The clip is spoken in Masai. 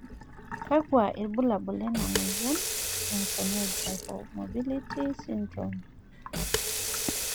kakua irbulabol lena moyian Marfanoid hypermobility syndrome?